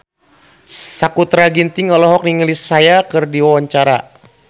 Sakutra Ginting olohok ningali Sia keur diwawancara